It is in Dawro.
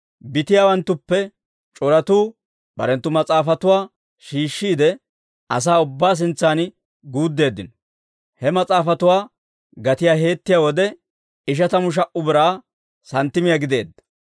Bitiyaawanttuppe c'oratuu barenttu mas'aafatuwaa shiishshiide, asaa ubbaa sintsan guuddeeddino; he mas'aafatuwaa gatiyaa heettiyaa wode, ishatamu sha"a Biraa santtimiyaa gideedda.